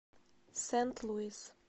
сент луис